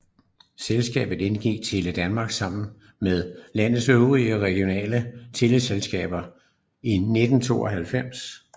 Selskabet indgik i Tele Danmark sammen med landets øvrige regionale teleselskaber i 1992